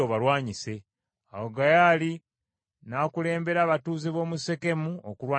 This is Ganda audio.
Awo Gaali n’akulembera abatuuze b’omu Sekemu okulwanyisa Abimereki.